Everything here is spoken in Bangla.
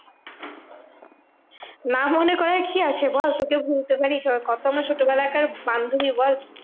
না মনে করার কি আছে বল? তোকে ভুলতে পারি? কত আমার ছোটবেলাকার বান্ধবী বল?